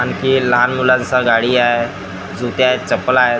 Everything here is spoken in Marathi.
आणखी लहान मुलांचा गाडी हाय जुते आहेत चपला आहेत .